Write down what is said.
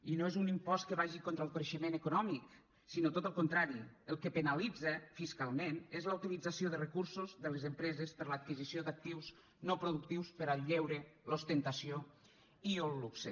i no és un impost que vagi contra el creixement econòmic sinó tot al contrari el que penalitza fiscalment és la utilització de recursos de les empreses per a l’adquisició d’actius no productius per al lleure l’ostentació i el luxe